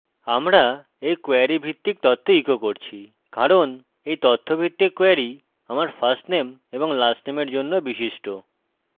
আমরা এই কোয়েরী ভিত্তিক তথ্য ইকো করছি কারণ এই তথ্য ভিত্তিক কোয়েরী আমার ফার্স্টনেম এবং সারনেমের জন্য বিশিষ্ট